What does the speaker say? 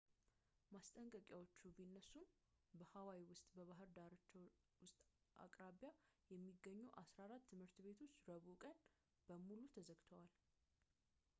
ማስጠንቀቂያዎቹ ቢነሱም በሃዋይ ውስጥ በባህር ዳርቻዎች ወይም አቅራቢያ የሚገኙ 14 ትምህርት ቤቶች ረቡዕ ቀን በሙሉ ተዘግተዋል